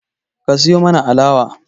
Ka siyo mana alawa